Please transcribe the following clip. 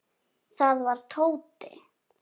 Það var Tóti.